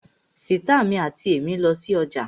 Sìtá mi àti èmí lọ sí ọjà